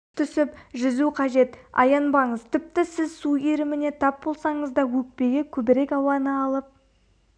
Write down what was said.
түсіп жүзу қажет аянбаңыз тіпті сіз су иіріміне тап болсаңыз да өкпеге көбірек ауаны алып